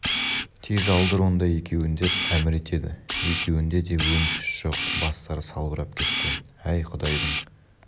тез алдыр онда екеуін деп әмір етеді екеуінде де өң-түс жоқ бастары салбырап кеткен әй құдайдың